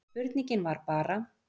En spurningin var bara